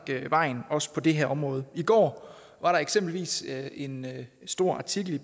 vejen også på det her område i går var der eksempelvis en stor artikel i